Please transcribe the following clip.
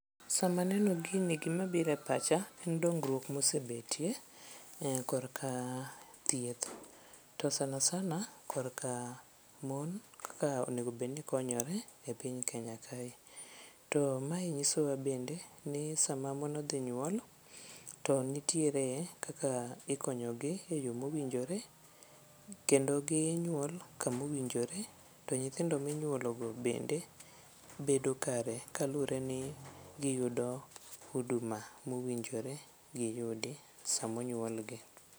Sama aneno gini gimabiro e pacha en dongruok mosebetie korka thieth to sana sana korka mon ka onegobedni konyore e piny Kenya kae. To mae nyisowa bende ni sama mon odhi nyuol to nitiere kaka ikonyogi e yo mowinjore kendo ginyuol kama owinjore to nyithindo minyuologo bende bedo kare kaluwre ni giyudo huduma mowinjore giyudi samonyuolgi.